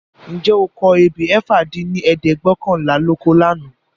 . Ǹjẹ́ o kọ ebè ẹ̀fà dín ní ẹ̀ẹ́dẹ́gbẹ́ọ̀kànlá lóko lànà?